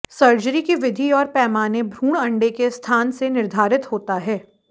surgery की विधि और पैमाने भ्रूण अंडे के स्थान से निर्धारित होता है